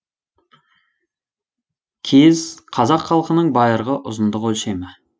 кез қазақ халқының байырғы ұзындық өлшемі